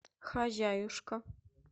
хозяюшка